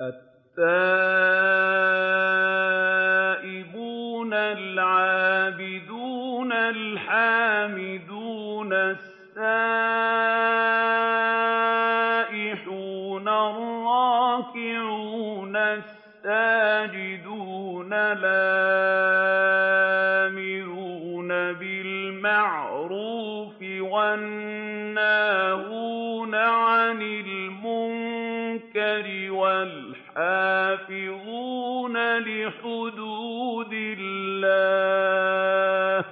التَّائِبُونَ الْعَابِدُونَ الْحَامِدُونَ السَّائِحُونَ الرَّاكِعُونَ السَّاجِدُونَ الْآمِرُونَ بِالْمَعْرُوفِ وَالنَّاهُونَ عَنِ الْمُنكَرِ وَالْحَافِظُونَ لِحُدُودِ اللَّهِ ۗ